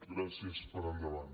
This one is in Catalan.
gràcies per endavant